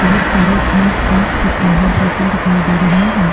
बहुत सारे घास फुस चट्टानों के ऊपर दिखाई दे रही है।